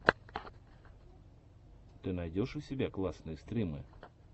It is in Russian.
ты найдешь у себя классные стримы